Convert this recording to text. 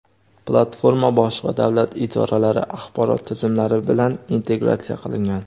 Platforma boshqa davlat idoralari axborot tizimlari bilan integratsiya qilingan.